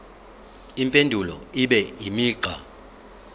impendulo ibe imigqa